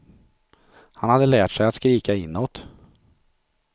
Han hade lärt sig att skrika inåt.